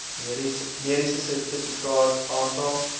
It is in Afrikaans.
mediese sertifikaat aantal